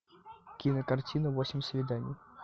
кинокартина восемь свиданий